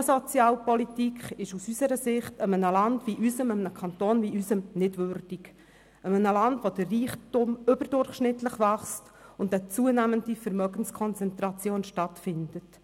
Eine derartige Sozialpolitik ist aus unserer Sicht einem Land und einem Kanton wie dem unsrigen nicht würdig – einem Land, in dem der Reichtum überdurchschnittlich wächst und eine zunehmende Vermögenskonzentration stattfindet.